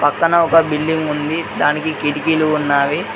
పక్కన ఒక బిల్డింగ్ ఉంది దానికి కిటికీలు ఉన్నావి.